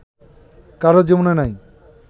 কারো জীবনে নাই